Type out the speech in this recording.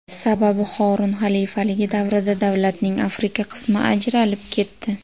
Sababi Horun xalifaligi davrida davlatning Afrika qismi ajralib ketdi.